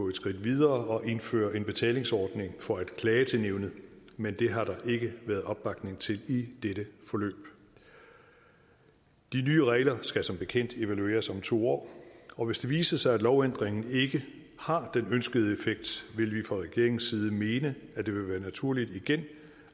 et skridt videre og have indført en betalingsordning for at klage til nævnet men det har der ikke været opbakning til i dette forløb de nye regler skal som bekendt evalueres om to år og hvis det viser sig at lovændringen ikke har den ønskede effekt vil vi fra regeringens side mene at det vil være naturligt igen